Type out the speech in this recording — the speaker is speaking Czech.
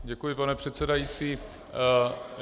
Děkuji, pane předsedající.